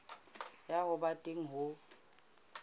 ya ho ba teng ho